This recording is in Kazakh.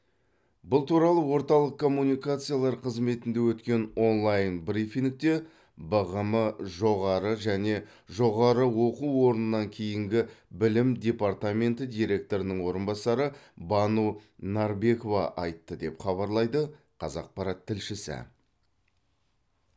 бұл туралы орталық коммуникациялар қызметінде өткен онлайн брифингте бғм жоғары және жоғары оқу орнынан кейінгі білім департаменті директорының орынбасары бану нарбекова айтты деп хабарлайды қазақпарат тілшісі